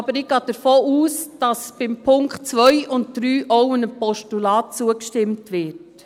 Aber ich gehe davon aus, dass bei Punkt 2 und 3 auch einem Postulat zugestimmt wird.